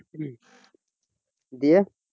দিয়ে